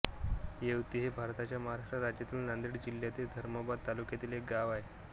येवती हे भारताच्या महाराष्ट्र राज्यातील नांदेड जिल्ह्यातील धर्माबाद तालुक्यातील एक गाव आहे